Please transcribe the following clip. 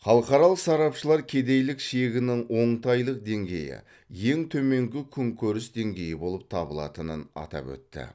халықаралық сарапшылар кедейлік шегінің оңтайлы деңгейі ең төменгі күнкөріс деңгейі болып табылатынын атап өтті